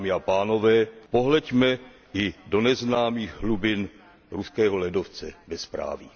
Dámy a pánové, pohleďme i do neznámých hlubin ruského ledovce bezpráví.